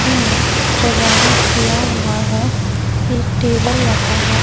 धर सजावट किया हुआ हैं एक टेबल लगा हैं।